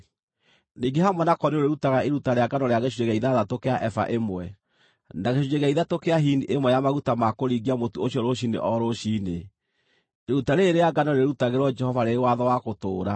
Ningĩ hamwe nako nĩũrĩrutaga iruta rĩa ngano rĩa gĩcunjĩ gĩa ithathatũ kĩa eba ĩmwe, na gĩcunjĩ gĩa ithatũ kĩa hini ĩmwe ya maguta ma kũringia mũtu ũcio rũciinĩ o rũciinĩ. Iruta rĩĩrĩ rĩa ngano rĩrĩĩrutagĩrwo Jehova rĩrĩ watho wa gũtũũra.